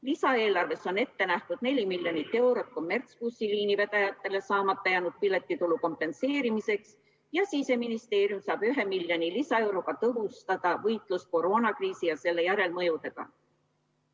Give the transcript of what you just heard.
Lisaeelarves on ette nähtud 4 miljonit eurot kommertsbussiliinidele saamata jäänud piletitulu kompenseerimiseks ja Siseministeerium saab 1 miljoni lisaeuro abil tõhustada võitlust koroonakriisi ja selle järelmõjude vastu.